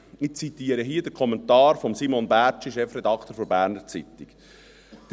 Ich zitiere hier den Kommentar von Simon Bärtschi, Chefredaktor der «Berner Zeitung (BZ)»: